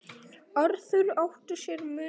Arthur átti sér mun fleiri.